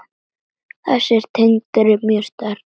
Þessi tenging er mjög sterk.